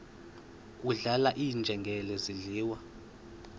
kudlala iinjengele zidliwa